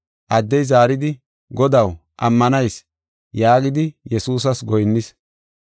Addey zaaridi, “Godaw, ammanayis” yaagidi Yesuusas goyinnis.